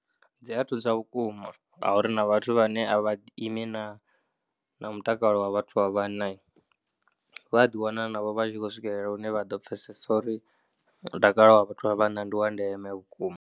Dzi a thusa vhukuma ngauri na vhathu vhane a vha imi na na mutakalo wa vhathu vha vhanna vha a ḓiwana navho vha tshi khou swikelela hune vha ḓo pfhesesa uri mutakalo wa vhathu vha vhanna ndi wa ndeme vhukuma.